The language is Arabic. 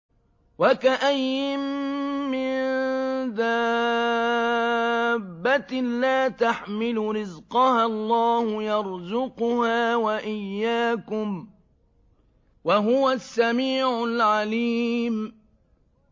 وَكَأَيِّن مِّن دَابَّةٍ لَّا تَحْمِلُ رِزْقَهَا اللَّهُ يَرْزُقُهَا وَإِيَّاكُمْ ۚ وَهُوَ السَّمِيعُ الْعَلِيمُ